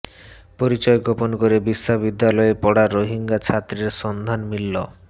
পরিচয় গোপন করে বিশ্ববিদ্যালয়ে পড়া রোহিঙ্গা ছাত্রের সন্ধান মিলল